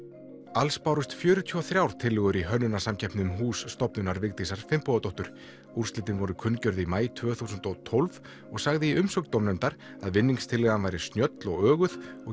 alls bárust fjörutíu og þrjár tillögur í hönnunarsamkeppni um hús stofnunar Vigdísar Finnbogadóttur úrslitin voru kunngjörð í maí tvö þúsund og tólf og sagði í umsögn dómnefndar að vinningstillagan væri snjöll og öguð og